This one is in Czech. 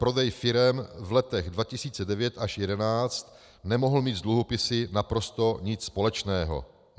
Prodej firem v letech 2009 až 2011 nemohl mít s dluhopisy naprosto nic společného.